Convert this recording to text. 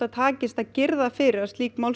takist að girða fyrir að slíkt